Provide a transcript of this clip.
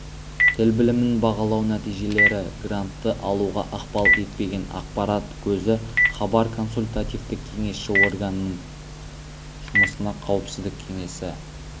тіл білімін бағалау нәтижелері грантты алуға ықпал етпеген ақпарат көзі хабар консультативтік-кеңесші органның жұмысына қауіпсіздік кеңесі